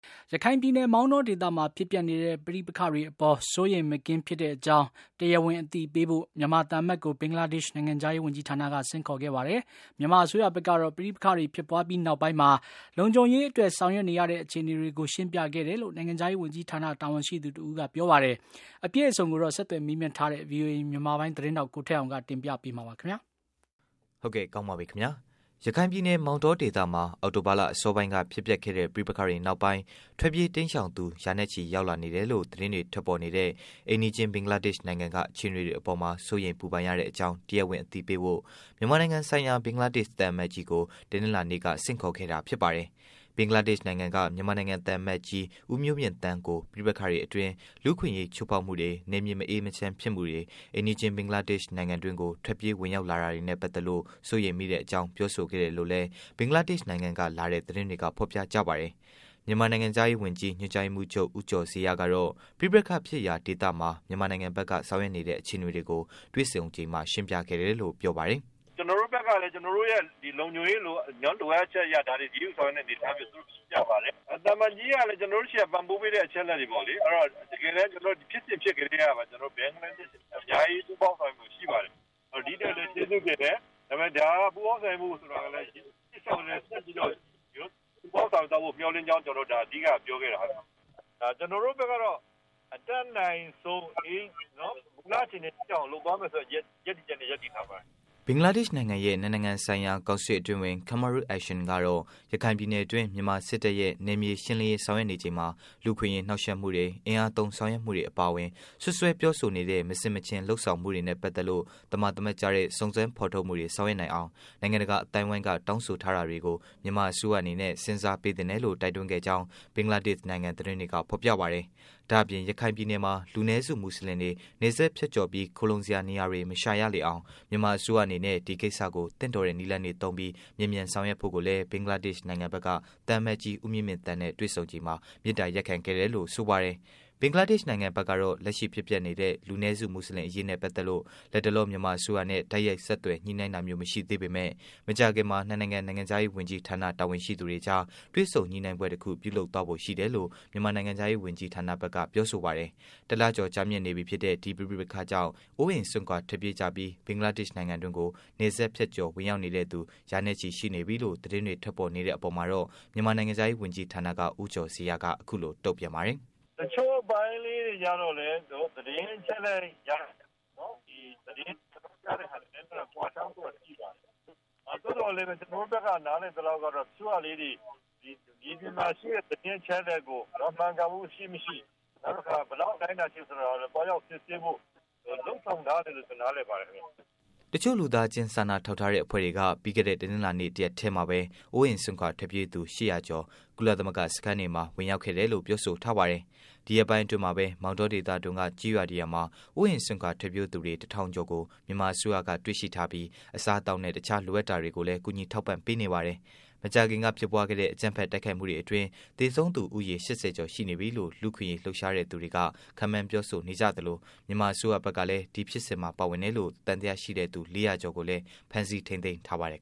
ရခိုင်ပြည်နယ် မောင်တောဒေသမှာ ဖြစ်ပျက်နေတဲ့ ပဋိပက္ခတွေကြောင့် စိုးရိမ်မကင်းဖြစ်ရတဲ့အကြောင်း တရားဝင် အသိပေးဖို့ ဘင်္ဂလားဒေ့ရှ် အစိုးရက မြန်မာသံအမတ်ကို ဘင်္ဂလားဒေ့ရှ် နိုင်ငံခြားရေး ဝန်ကြီးဌာနက ဆင့်ခေါ်ခဲ့ပါတယ်။ မြန်မာအစိုးရဘက်ကတော့ ပဋိပက္ခဖြစ်ပွားပြီးနောက်ပိုင်း လုံခြုံရေးအတွက် ဆောင်ရွက်နေရတဲ့ အခြေအနေတွေကို ရှင်းပြခဲ့တယ် လို့လည်း နိုင်ငံခြားရေး ဝန်ကြီးဌာန တာဝန်ရှိသူ တဦးက ပြောပါတယ်။ အပြည့်အစုံကို ဆက်သွယ်မေးမြန်းထားတဲ့ ဗွီအိုအေမြန်မာပိုင်း သတင်းထောက် ကိုထက်အောင်က တင်ပြပေးမှာပါ။ ရခိုင်ပြည်နယ် မောင်တောဒေသမှာ အောက်တိုဘာလ အစောပိုင်းက ဖြစ်ပျက်ခဲ့တဲ့ ပဋိပက္ခတွေနောက်ပိုင်း ထွက်ပြေးတိမ်းရှောင်သူ ရာနဲ့ချီ ရောက်လာနေတယ်လို့ သတင်းတွေ ထွက်ပေါ်နေတဲ့ အိမ်နီးချင်း ဘင်္ဂလားဒေ့ရှ် နိုင်ငံက အခြေအနေတွေ အပေါ် စိုးရိမ်ပူပန်တဲ့ အကြောင်း တရားဝင်အသိပေးဖို့ မြန်မာနိုင်ငံဆိုင်ရာ ဘင်္ဂလားဒေ့ သံအမတ်ကြီးကို တနင်္လာနေ့က ဆင့်ခေါ် ခဲ့တာဖြစ်ပါတယ်။ ဘင်္ဂလားဒေ့ရှ် နိုင်ငံက မြန်မာအသံအမတ်ကြီး ဦးမျိုးမြင့်သန်းကို ပဋိပက္ခအတွင်း လူ့အခွင့်အရေး ချိုးဖောက်မှုတွေ၊ နယ်မြေမအေးချမ်း ဖြစ်မှုတွေ၊ အိမ်နီးချင်း ဘင်္ဂလားဒေ့ရှ် နီု်င်ငံတွင်းကို ထွက်ပြေးဝင်ရောက်လာနေတာတွေနဲ့ ပတ်သက်လို့ စိုးရိမ်ကြောင်း ပြောဆိုခဲ့တယ်လို့လည်း ဘင်္ဂလားဒေ့ရှ် နိုင်ငံကလာတဲ့ သတင်းတွေက ဖော်ပြကြပါတယ်။ မြန်မာ နိုင်ငံခြားရေး ဝန်ကြီး ညွှန်ကြားရေးမှူးချုပ် ဦးကျော်ဇေယျကတော့ ပဋိပက္ခဖြစ်ရာ ဒေသမှာ မြန်မာနိုင်ငံဘက်က ဆောင်ရွက်နေတဲ့ အခြေအနေတွေကို တွေ့ဆုံချိန်မှာ ရှင်းပြခဲ့တယ်လို့ ပြောပါတယ်။ " ကျနော်တို့ဘက်ကလည်း ကျနော်တို့ရဲ့ လုံခြုံရေးလိုအပ်ချက်အရ ဒါတွေကို အရေးယူဆောင်ရွက်နေတဲ့အနေအထားတွေကို သူတို့ကိုရှင်းပြပါတယ်။ သံအမတ်ကြီးကလည်း ကျနော်တို့ဆီက ပံ့ပိုးပေးတဲ့အချက်အလက်တွေပေါ့လေ။ တကယ် ဖြစ်စဉ်ဖြစ်ကတည်းကပေါ့လေ ဘင်္ဂလားဒေ့ရှ်က အများကြီး ပူးပေါင်းပါဝင်မှုရှိပါတယ်။ ဒီ့အတွက်လည်း ကျေးဇူးတင်တယ်။ ပူးပေါင်းပါဝင်မှုက ရှေ့လျောက်လည်း ဆက်ပြီးတော့ ပူးပေါင်းပါဝင်သွားမယ်လို့ မျှော်လင့်ကြောင်း ကျနော်တို့ အဓိက ပြောခဲ့တာပါပဲ။ ကျနေ်ာတို့ဘက်ကတော့ အတတ်နိုင်ဆုံး မူလအခြေအနေအထိအောင် လုပ်သွားမယ်ဆိုတဲ့ ရပ်တည်ချက်နဲ့ ရပ်တည်ထားပါတယ်။" ဘင်္ဂလားဒေ့ရှ်နိုင်ငံရဲ့ နှစ်နိုင်ငံဆိုင်ရာ ကောင်စစ်အတွင်းဝန် Kamrul Ahsan ကတော့ ရခိုင်ပြည်နယ်တွင်း မြန်မာစစ်တပ်ရဲ့ နယ်မြေ ရှင်းလင်းရေး ဆောင်ရွက်နေ ချိန်မှာ လူ့အခွင့်အရေး နှောင့်ယှက်မှုတွေ၊ အင်အားသုံး ဆောင်ရွက်မှုတွေ အပါအဝင် စွပ်စွဲပြောဆိုနေတဲ့ မဆင်မခြင် လုပ်ဆောင်မှုတွေနဲ့ ပတ်သတ်လို့ သမာသမတ်ကျတဲ့ စုံစမ်းဖော်ထုတ်မှုတွေ ဆောင်ရွက်နိုင်အောင် နိုင်ငံတကာ အသိုင်းအဝိုင်း က တောင်းဆို ထားတာတွေကို မြန်မာ အစိုးရအနေနဲ့ စဉ်စားပေးသင့်တယ်လို့ တိုက်တွန်းခဲ့ကြောင်း ဘင်္ဂလားဒေ့ရှ် နိုင်ငံက သတင်းတွေက ဖော်ပြပါတယ်။ ဒါ့အပြင် ရခိုင် ပြည်နယ်မှာ လူနည်းစု မူဆလင်တွေ နယ်စပ် ဖြတ်ကျော်ပြီး ခိုလုံရာနေရာတွေ မရှာရလေအောင် မြန်မာအစိုးရအနေနဲ့ ဒီကိစ္စကို သင့်တော်တဲ့ နည်းလမ်းတွေ သုံးပြီး မြန်မြန်ဆောင်ရွက်ဖို့ကိုလည်း ဘင်္ဂလားဒေ့ရှ် နိုင်ငံဖက်က သံအမတ်ကြီး ဦးမျိုးမြင့်သန်းနဲ့ တွေ့ဆုံချိန်မှာ မေတ္တာရပ်ခံခဲ့တယ်လို့ ဆိုပါတယ်။ ဘင်္ဂလားဒေ့ရှ်ဘက်ကတော့ လက်ရှိဖြစ်ပျက်နေတဲ့ လူနည်းစု မူစလင် အရေးနဲ့ ပတ်သတ်လို့ လတ်တလော မြန်မာအစိုးရနဲ့ တိုက်ရိုက် ဆက်သွယ် ညှိုနှိုင်းတာမျိုး မရှိသေးပေမဲ့ မကြာခင်မှာ ၂ နိုင်ငံ နိုင်ငံခြားရေး ဝန်ကြီးဌာန တာဝန်ရှိ သူတွေကြား တွေ့ဆုံညှိနှိုင်းပွဲတစ်ခု ပြုလုပ်သွားဖို့ ရှိတယ်လို့ မြန်မာနိုင်ငံခြားရေး ဝန်ကြီးဌာနက ပြောဆိုပါတယ်။ တစ်လကျော်ကြာမြင့်နေပြီဖြစ်တဲ့ ဒီပဋိပက္ခကြောင့် အိုးအိမ်စွန့်ခွာ ထွက်ပြေးကြပြီး ဘင်္ဂလားဒေ့ရှ်နိုင်ငံတွင်းကို နယ်စပ် ဖြတ်ကျော်ဝင်ရောက်နေသူ ရာနဲ့ချီ ရှိနေပြီလို့ သတင်းတွေ ထွက်ပေါ်နေတဲ့ အပေါ်မှာတော့မြန်မာနိုင်ငံခြားရေး ဝန်ကြီးဌာနက ဦးကျော်ဇေယျကတော့ အခုလို တုန့်ပြန်ပါတယ်။ "တချို့အပိုင်းလေးတွေကျတော့လည်း ကျနေ်ာတို့ သတင်းအချက်အလက်ရတာ ကွာခြားမှုတော့ရှိပါတယ်။ သို့သော်လည်းပဲ ကျနော်တို့ဘက်က နားလည် သလောက်ကတော့ အချို့က မြေပြင်မှာရှိတဲ့သတင်းချက်အလက်ကို မှန်ကန်မှုရှိမရှိ၊ နောက်တခါ ဘယ်လောက်အတိုင်းအတာအထိဆိုတာ သွားရောက်စစ်ဆေးဖို့ လုပ်ဆောင်ထားတယ်လို့ ကျနော် နားလည်ပါတယ်ခင်ဗျ။" တစ်ချို့ လူသားချင်း စာနာထောက်ထားတဲ့ အဖွဲ့တွေက ပြီးခဲ့တဲ့ တနင်္လာနေ့ တစ်ရက်တည်းမှာပဲ အိုးအိမ်စွန့်ခွာ ထွက်ပြေးသူတွေ ၈၀၀ ကျော် ကုလသမဂ္ဂ စခန်းတွေမှာ ဝင်ရောက်ခဲ့တယ်လို့ ပြောဆိုထားပါတယ်။ ဒီရက်ပိုင်း အတွင်းမှာပဲ မောင်တောဒေသတွင်းက ကျေးရွာ တစ်ရွာမှာ အိုးအိမ်စွန့်ခွာ ထွက်ပြေးသူတွေ တစ်ထောင်ကျော်ကို မြန်မာအစိုးရက တွေ့ရှိထားပြီး အစားအသောက်နဲ့ တခြား လိုအပ်တာတွေကိုလည်း ကူညီထောက်ပံ့ပေးနေပါတယ်။ မကြာခင်က ဖြစ်ပွားခဲ့တဲ့ အကြမ်းဖက်တိုက်ခိုက်မှုတွေ အတွင်း သေဆုံးသူ ဦးရေ ၈၀ ကျော် ရှိနေပြီလို့ လူ့အခွင့်အရေး လုပ်ရှားသူတွေက ခန့်မှန်းပြောဆိုနေကြသလို မြန်မာအစိုးရဘက်ကလည်း ဒီဖြစ်စဉ်မှာ ပါဝင်တယ်လို့ သံသယရှိသူ ၄၀၀ ကျော်ကိုလည်း ဖမ်းဆီးထိန်းသိမ်းထားပါတယ်